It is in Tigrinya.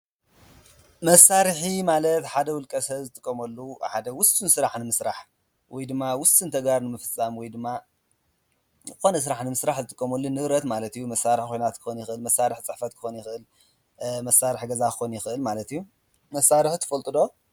መሣርኂ ማለት ሓደ ውልቀሰ ዝትቆመሉ ሓደ ውስን ሥራዕ ንምስራሕ ወይ ድማ ውስ እንተጋር ምፍሳም ወይ ድማ ኾነ ሥራሕ ንምሥራሕ ዝትቆመሉ ንብረት ማለት እዩ። መሣርሕ ኮኅናት ክኮን ይኽል መሣርሕ ፃሕፈት ክኮን ይኽል መሣርሕ ገዛ ኾን ይኽል ማለትዩ መሣርህ ትፈልጡዶ?